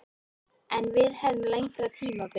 Að við hefðum lengra tímabil.